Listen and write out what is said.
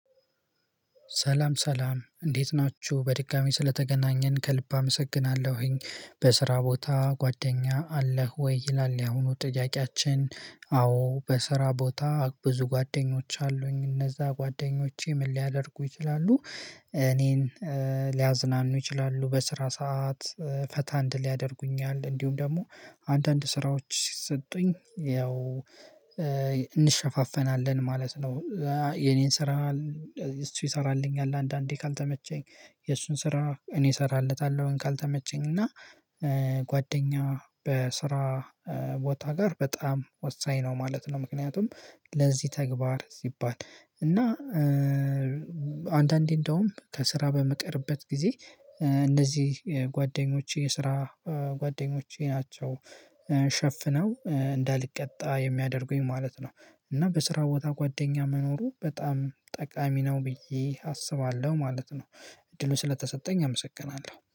ሰላም ሰላም እንዴት ናችሁ በድጋሚ ስለተገናኘን ከልብ አመሰግናለሁኝ። በስራ ቦታ ጓደኛ አለህ ወይ ይላል? ያሁኑ ጥያቄያችን አዎ በስራ ቦታ ብዙ ጓደኞች አሉኝ። እነዛ ጓደኞቼ ምን ሊያደርጉ ይችላሉ? እኔን ሊያዝናኑ ይችላሉ በስራ ሰዓት ፈታ እንድል ያደርጉኛል እንዲሁም ደግሞ አንዳንድ ስራዎች ሲሰጡኝ ያው እንሸፋፈናለን ማለት ነው። የኔን ስራ እሱ ይሰራልኛል አንዳንዴ ካልተመቸኝ የእሱን ስራ እኔ እሰራለታለሁኝ። ካልተመቸኝ እና ጓደኛ በስራ ቦታ ጋር በጣም ወሳኝ ነው ማለት ነው። ምክንያቱም ለዚህ ተግባር ሲባል እና አንዳንዴ እንደውም ከስራ በምቀርበት ጊዜ እነዚህ ጓደኞቼ የስራ ጓደኞቼ ናቸው። ሸፍነው እንዳልቀጣ የሚያደርጉኝ ማለት ነው። እና በስራ ቦታ ጓደኛ መኖሩ በጣም ጠቃሚ ነው ብዬ አስባለሁ ማለት ነው። እድሉ ስለተሰጠኝ አመሰግናለሁ